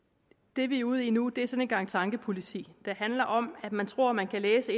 det vi er ude i nu er sådan en gang tankepoliti det handler om at man tror man kan læse